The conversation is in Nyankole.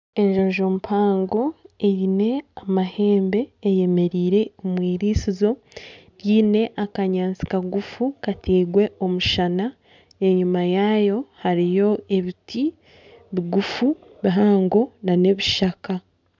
Enjojo mpango eine amahembe eyemereire omwiriisizo ryine akanyaatsi kagufu katairwe omushana enyuma yaayo hariyo ebiti bigufu bihango n'ebishaka.